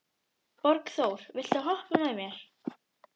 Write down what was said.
Borgþór, viltu hoppa með mér?